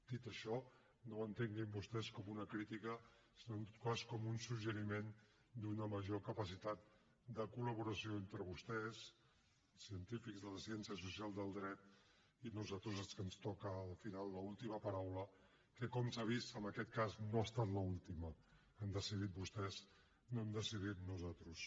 dit això no entenguin això com una crítica sinó en tot cas com un suggeriment d’una major capacitat de col·laboració entre vostès científics de les ciències socials del dret i nosaltres als que ens toca al final l’última paraula que com s’ha vist en aquest cas no ha estat l’última han decidit vostès no hem decidit nosaltres